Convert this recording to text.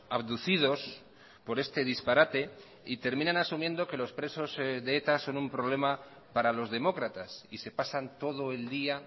abducidos por este disparate y terminan asumiendo que los presos de eta son un problema para los demócratas y se pasan todo el día